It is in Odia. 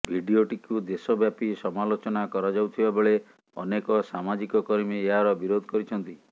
ଭିଡିଓଟିକୁ ଦେଶ ବ୍ୟାପି ସମାଲୋଚନା କରାଯାଉଥିବା ବେଳେ ଅନେକ ସାମାଜିକ କର୍ମୀ ଏହାର ବିରୋଧ କରିଛନ୍ତି